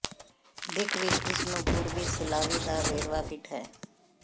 ਦਿੱਖ ਵਿਚ ਇਸ ਨੂੰ ਪੂਰਬੀ ਸਲਾਵੀ ਦਾ ਵੇਰਵਾ ਫਿੱਟ ਹੈ